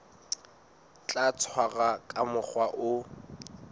tla tshwarwa ka mokgwa o